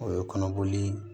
O ye kɔnɔboli